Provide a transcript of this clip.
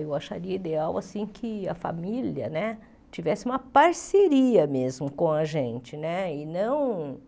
Eu acharia ideal que a família né tivesse uma parceria mesmo com a gente né, e não